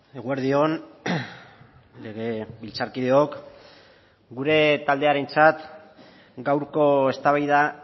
eguerdi on legebiltzarkideok gure taldearentzat gaurko eztabaida